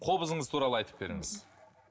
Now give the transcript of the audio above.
қобызыңыз туралы айтып беріңіз